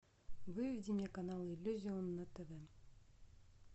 выведи мне канал иллюзион на тв